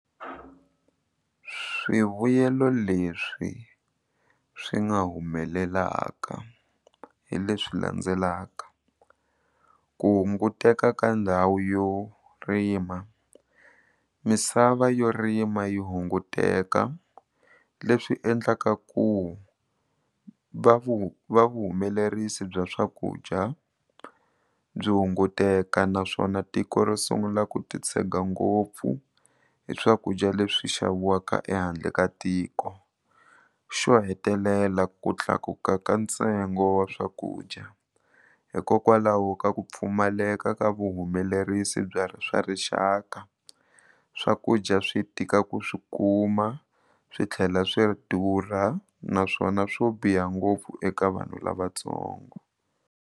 Swivuyelo leswi swi nga humelelaka hi leswi landzelaka ku hunguteka ka ndhawu yo rima misava yo rima yi hunguteka leswi endlaka ku va vuhumelerisi bya swakudya byi hunguteka naswona tiko ro sungula ku titshega ngopfu hi swakudya leswi xaviwaka ehandle ka tiko xo hetelela ku tlakuka ka ntsengo wa swakudya hikokwalaho ka ku pfumaleka ka vuhumelerisi swa rixaka swakudya swi tika ku swi kuma swi tlhela swi durha naswona swo biha ngopfu eka vanhu lavatsongo.